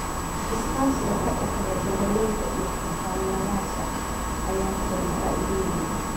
Iskaashiga ka dhexeeya beeralayda iyo xirfadlayaasha ayaa keena faa'iidooyin.